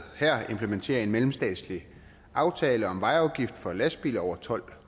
her implementerer en mellemstatslig aftale om vejafgift for lastbiler over tolv